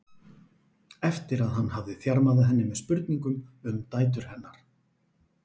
eftir að hann hafði þjarmað að henni með spurningum um dætur hennar.